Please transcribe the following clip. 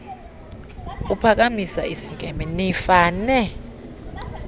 uphakamisa isinkempe nifane